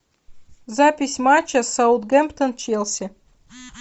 запись матча саутгемптон челси